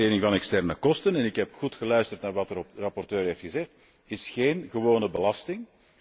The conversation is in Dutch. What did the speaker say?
Internalisering van externe kosten en ik heb goed geluisterd naar wat de rapporteur heeft gezegd is geen gewone belasting.